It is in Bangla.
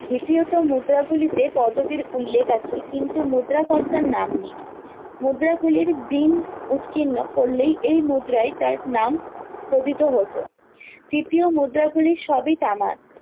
দ্বিতীয়ত মুদ্রা গুলিতে পদবীর উল্লেখ আছে কিন্তু মুদ্রা কর্তার নাম নেই মুদ্রা গুলির দিন উৎকীর্ণ করলেই এই মুদ্রাই তার নাম কথিত হতো তৃতীয় মুদ্রা গুলি সবই তামার